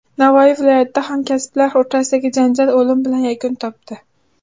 Navoiy viloyatida hamkasblar o‘rtasidagi janjal o‘lim bilan yakun topdi.